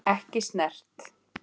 Ekki snert.